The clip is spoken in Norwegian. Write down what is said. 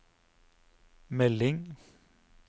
melding